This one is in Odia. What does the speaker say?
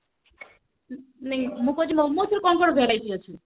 ନାଇଁ ମୁଁ କହୁଛି ମୋମୋସ ର କଣ କଣ variety ଅଛି